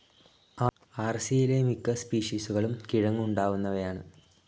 ആർസിയിലെ മിക്ക സ്പീഷിസുകളും കിഴങ്ങു ഉണ്ടാവുന്നവയാണ്.